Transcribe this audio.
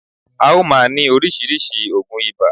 À o máa ní orísìírísìí ògùn ibà